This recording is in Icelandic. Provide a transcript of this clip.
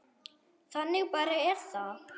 Þannig bara er það.